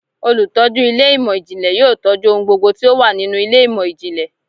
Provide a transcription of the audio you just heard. Olutọju ilé imọ-jinlẹ yóò tọju ohún gbógbó tí o wa ninú ilé imọ-jinlẹ